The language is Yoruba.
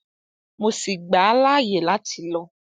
mo sì gbà á láàyè láti lọ